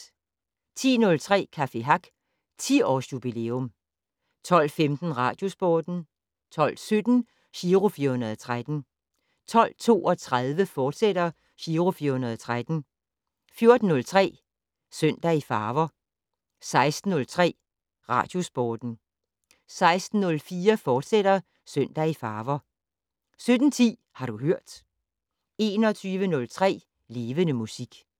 10:03: Café Hack - 10-års-jubilæum 12:15: Radiosporten 12:17: Giro 413 12:32: Giro 413, fortsat 14:03: Søndag i farver 16:03: Radiosporten 16:04: Søndag i farver, fortsat 17:10: Har du hørt 21:03: Levende Musik